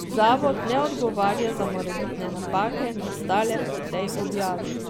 Zavod ne odgovarja za morebitne napake, nastale pri tej objavi.